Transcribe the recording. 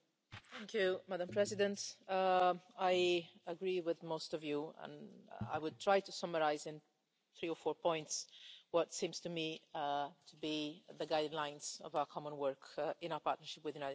Madam President, I agree with most of you and I will try to summarise in three or four points what seem to me to be the guidelines of our common work in our partnership with the United States.